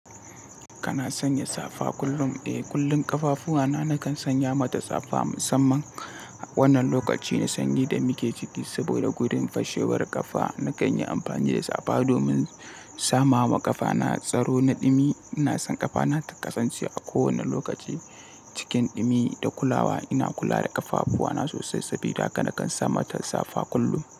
Kana sanya safa kullum? Eh, kullum ƙafafuwana nakan sanya mata safa musamman wannan lokaci na sanyi da muke ciki. Saboda wurin fashewar ƙafa nakan yi amfani da safa domin sama wa ƙafana tsaro na ɗumi. Ina son ƙafana ta kasance a kowane lokaci cikin ɗumi da kulawa. Ina kula da ƙafafuwana sosai saboda haka nakan sa mata safa kullum.